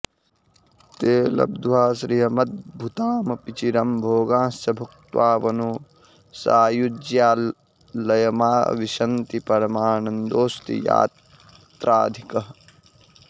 ते लब्ध्वा श्रियमद्भुतामपि चिरं भोगांश्च भुक्त्वाऽवनौ सायुज्यालयमाविशन्ति परमानन्दोऽस्ति यत्राधिकः